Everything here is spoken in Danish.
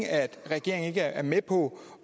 regeringen ikke er med på